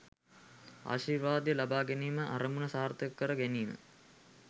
ආශිර්වාදය ලබා ගැනීමේ අරමුණ සාර්ථක කර ගැනීම